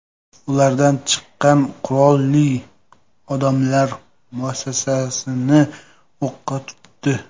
Ulardan chiqqan qurolli odamlar muassasani o‘qqa tutdi.